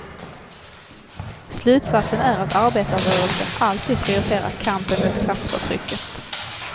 Slutsatsen är att arbetarrörelsen alltid prioriterar kampen mot klassförtrycket.